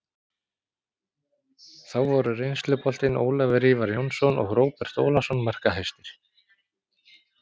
Þá voru reynsluboltinn Ólafur Ívar Jónsson og Róbert Ólafsson markahæstir.